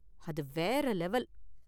அது வேற லெவல்.